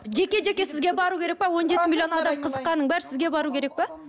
жеке жеке сізге бару керек пе он жеті миллион адам қызыққанның бәрі сізге бару керек пе